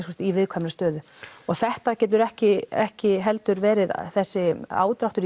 í viðkvæmri stöðu og þetta getur ekki ekki heldur verið þessi ádráttur